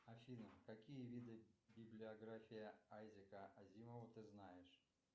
афина какие виды библиография айзека азимова ты знаешь